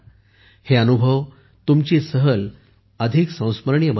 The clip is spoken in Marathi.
हे अनुभव तुमची सहल अधिक संस्मरणीय बनवतील